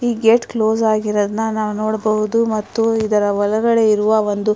ಈ gate close ಆಗಿರುವದನ್ನ ನೋಡಬಹುದು ಮತ್ತು ಇದರ ಒಳಗಡೆ ಇರುವ ಒಂದು --